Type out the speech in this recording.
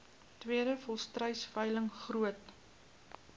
tweede volstruisveiling groot